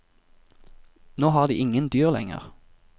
Nå har de ingen dyr lenger.